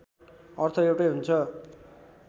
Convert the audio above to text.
अर्थ एउटै हुन्छ